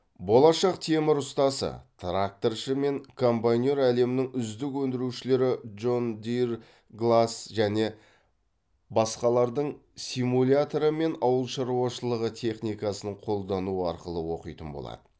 болашақ темір ұстасы тракторшы мен комбайнер әлемнің үздік өндірушілері джон дир глас және басқалардың симуляторы мен ауыл шаруашылығы техникасын қолдану арқылы оқитын болады